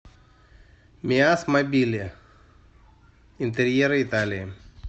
миасмобили интерьеры италии